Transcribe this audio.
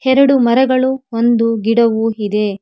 ಎರಡು ಮರಗಳು ಒಂದು ಗಿಡವು ಇದೆ.